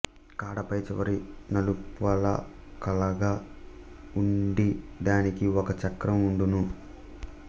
కాడ పై చివర నలుపలకలగా వుండి దానికి ఒక చక్రం వుండును